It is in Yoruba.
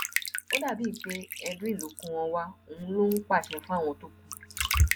ó dà bíi pé edwin ló kó wọn wá òun ló ń pàṣẹ fáwọn tó kù